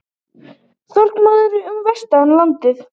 Þokumóða um vestanvert landið